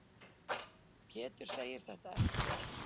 Pétur segir þetta ekki rétt.